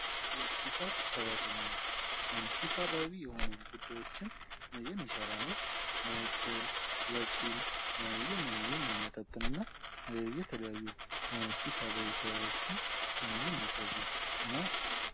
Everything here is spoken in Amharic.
የሒሳብ ሰራተኝነት ሒሳባዊ የሆኑ ጉዳዮችን የሚሰራ ነው። ትርፍ ፣ወጪ የሚያመጣጥንና የተለያዩ ሒሳባዊ ስራዎችን የሚከውን ነው።